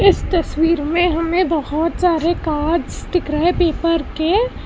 इस तस्वीर में हमें बहोत सारे कार्ड्स दिख रहा है पेपर के।